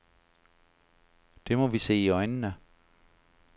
Det må vi se i øjnene.